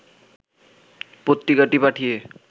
পত্রিকাটি পাঠিয়ে